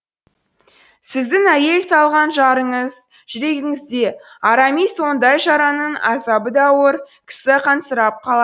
сіздің әйел салған жараңыз жүрегіңізде арамис ондай жараның азабы да ауыр кісі қансырап қалады